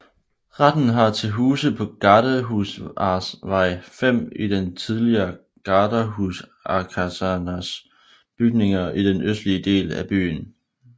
Retten har til huse på Gardehusarvej 5 i den tidligere garderhusarkasernes bygninger i den østlige del af byen